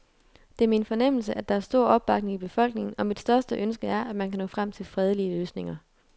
Det er min fornemmelse, at der er stor opbakning i befolkningen, og mit største ønske er, at man kan nå frem til fredelige løsninger.